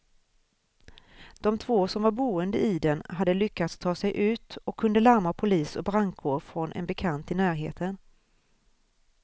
De två som var boende i den hade lyckats ta sig ut och kunde larma polis och brandkår från en bekant i närheten.